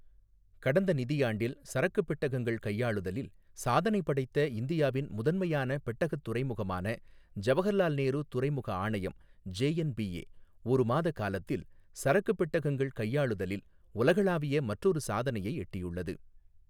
கடந்த நிதியாண்டில் சரக்குப் பெட்டகங்கள் கையாளுதலில் சாதனை படைத்த இந்தியாவின் முதன்மையான பெட்டகத் துறைமுகமான ஜவஹர்லால் நேரு துறைமுக ஆணையம் ஜேஎன்பிஏ, ஒரு மாத காலத்தில், சரக்குப் பெட்டகங்கள் கையாளுதலில் உலகளாவிய மற்றொரு சாதனையை எட்டியுள்ளது.